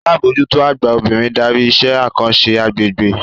Alábòójútó àgbà obìnrin darí iṣẹ́ àkànṣe agbègbè